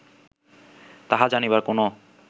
তাহা জানিবার কোন